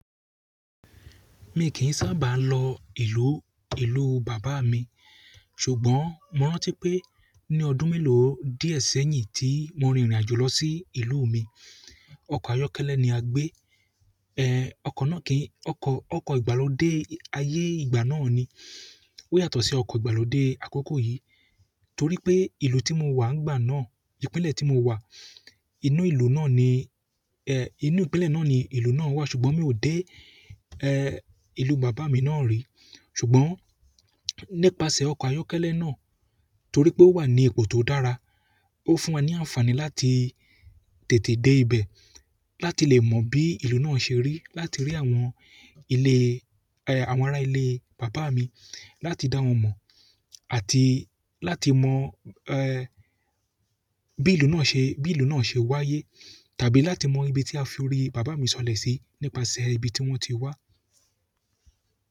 Mi kìí sábà lọ ìlú, ìlú bàbá mi, ṣùgbọ́n mo rántí pé ní ọdún mélòó díẹ̀ sẹ́yìn tí mo rin ìrìnàjò lọ sí ìlú mi. Ọkọ̀ ayọ́kẹ́lẹ́ ni a gbé. Ọkọ̀ náà kìí, ọkọ̀ ìgbàlódẹ́ ayé ìgbà náà ni. Ó yàtọ̀ sí ọkọ̀ ìgbàlódẹ́ àkoko yìí torí pé ìlú tí mo wà nígbà náà, ìpínlẹ̀ tí mo wà, inú ìlú náà ni, inú ìpínlẹ̀ náà ni ìlú náà wà ṣùgbọ́n mi ò dé, ìlú bàbá mi náà rì. Ṣùgbọ́n ni pase oko ayọ́kẹ́lẹ́ náà torí pe o wa ni ipò to dára o fún wa ni anfani láti tètè de ibe, láti le mo bi ìlú náà se ri, láti ri àwọn ile àwọn ara ilé bàbá mi, láti dá wọn mọ̀ àti láti mọ bí ìlú náà ṣe, bí ìlú náà ṣe wáyé tàbí láti mọ ibi tí a fi orí bàbá mi sọ̀lẹ̀ sí nípasẹ̀ ibi tí wọ́n ti wá.